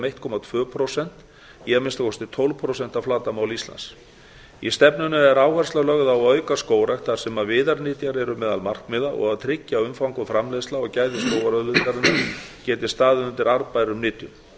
eitt komma tvö prósent í að minnsta kosti tólf prósent af flatarmáli íslands í stefnunni er áhersla lögð á að auka skógrækt þar sem viðarnytjar eru meðal markmiða og að tryggja að umfang framleiðsla og gæði skógarauðlindarinnar geti staðið undir arðbærum nytjum